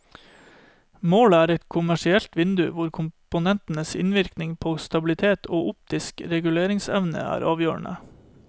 Målet er et kommersielt vindu, hvor komponentenes innvirkning på stabilitet og optisk reguleringsevne er avgjørende.